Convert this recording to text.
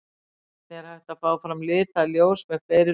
Einnig er hægt að fá fram lituð ljós með fleiri lofttegundum.